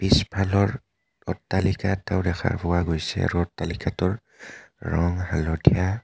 পিছফালৰ অট্টালিকা এটাও দেখা পোৱা গৈছে আৰু অট্টালিকাটোৰ ৰং হালধীয়া.